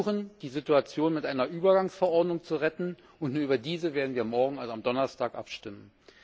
Sie versuchen, die Situation mit einer Übergangsverordnung zu retten, und nur über diese werden wir morgen, also am Donnerstag, abstimmen.